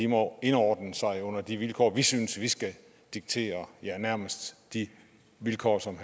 må indordne sig under de vilkår vi synes vi skal diktere ja nærmest de vilkår som